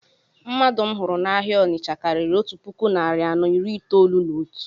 Mmadụ m hụrụ na-áhiá Ọnitsha karịrị otu puku narị anọ iri itolu na otu